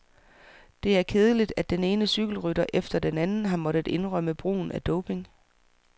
Det er kedeligt, at den ene cykelrytter efter den anden har måttet indrømme brugen af doping.